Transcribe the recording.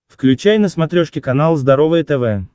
включай на смотрешке канал здоровое тв